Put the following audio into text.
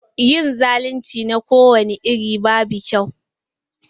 Yin zalunci na kowani iri babu kyau.